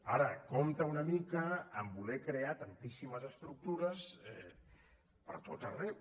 ara compte una mica a voler crear tantíssimes estructures pertot arreu